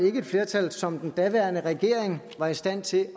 ikke et flertal som den daværende regering var i stand til